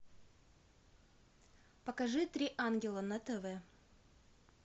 покажи три ангела на тв